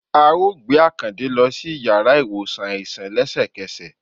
à ọ gbe Akańde lo si ìyára iwosàn aisan lẹsẹkẹsẹ